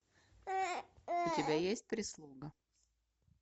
у тебя есть прислуга